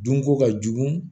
Dunko ka jugu